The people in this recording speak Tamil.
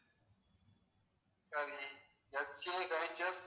FJIGF